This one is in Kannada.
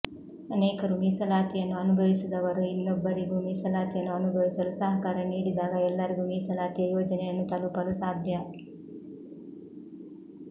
ಅನೇಕರು ಮೀಸಲಾತಿಯನ್ನು ಅನುಭವಿಸಿದವರು ಇನ್ನೊಬ್ಬರಿಗೂ ಮೀಸಲಾತಿಯನ್ನು ಅನುಭವಿಸಲು ಸಹಕಾರ ನೀಡಿದಾಗ ಎಲ್ಲರಿಗೂ ಮೀಸಲಾತಿಯ ಯೋಜನೆಯನ್ನು ತಲುಪಲು ಸಾಧ್ಯ